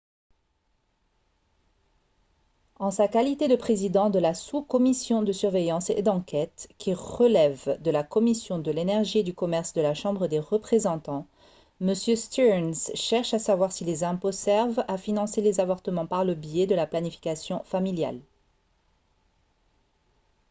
en sa qualité de président de la sous-commission de surveillance et d'enquête qui relève de la commission de l'énergie et du commerce de la chambre des représentants m stearns cherche à savoir si les impôts servent à financer les avortements par le biais de la planification familiale